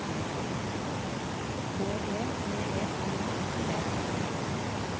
B E V E G E T